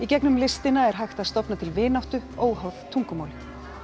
gegnum listina er hægt að stofna til vináttu óháð tungumáli